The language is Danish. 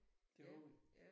De har de